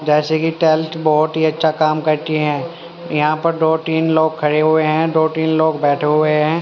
जैसे की टेल्थ बहोत ही अच्छा काम करती है यहां पर डो तीन लोग खड़े हुए है दो तीन लोग बैठे हुए है।